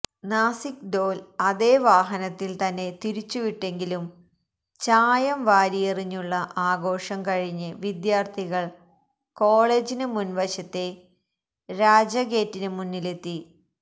നാസിക്ദോല് അതേ വാഹനത്തില് തന്നെ തിരിച്ചുവിട്ടെങ്കിലും ചായം വാരിയെറിഞ്ഞുള്ള ആഘോഷം കഴിഞ്ഞ് വിദ്യാര്ഥികള് കോളേജിന് മുന് വശത്തെ രാജാഗേറ്റിന് മുന്നിലെത്തി